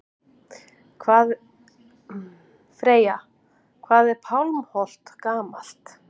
Freyja: Hvað er Pálmholt gamalt?